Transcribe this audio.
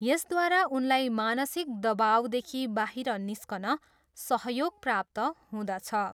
यसद्वारा उनलाई मानसिक दवाउदेखि बाहिर निस्कन सहयोग प्राप्त हुँदछ।